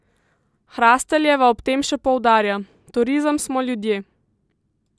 Hrasteljeva ob tem še poudarja: "Turizem smo ljudje.